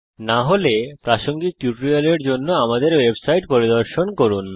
না হলে প্রাসঙ্গিক টিউটোরিয়ালের জন্য আমাদের ওয়েবসাইট পরিদর্শন করুন